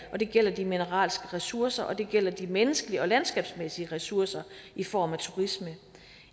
og det gælder de mineralske ressourcer og det gælder de menneskelige og landskabsmæssige ressourcer i form af turisme